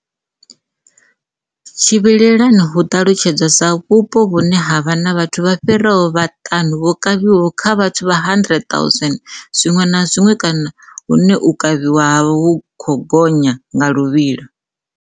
Tshivhilelani hu ṱalutshedzwa sa vhupo vhune ha vha na vhathu vha fhiraho vhaṱanu vho kavhiwaho kha vhathu vha 100 000 zwiṅwe na zwiṅwe kana hune u kavhiwa ha vha hu khou gonya nga luvhilo.